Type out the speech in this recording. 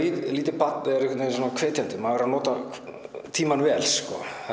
lítið barn er hvetjandi maður verður að nota tímann vel